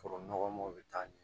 Foro nɔgɔmaw bɛ taa ɲɛ